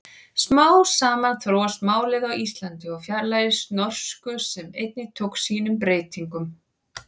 Smám saman þróast málið á Íslandi og fjarlægist norsku sem einnig tók sínum breytingum.